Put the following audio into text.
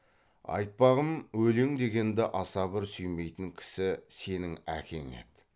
айтпағым өлең дегенді аса бір сүймейтін кісі сенің әкең еді